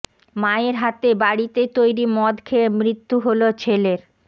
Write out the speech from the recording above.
মায়ের হাতে বাড়িতে তৈরি মদ খেয়ে মৃত্যু হল ছেলের